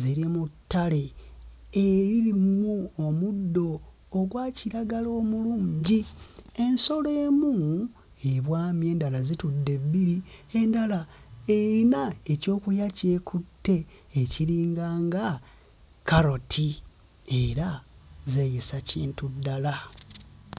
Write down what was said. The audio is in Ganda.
Ziri mu ttale eririmu omuddo ogwa kiragala omulungi. Ensolo emu ebwamye endala zitudde bbiri endala eyina ekyokulya ky'ekutte ekiringanga kkaloti era zeeyisa kintu ddala.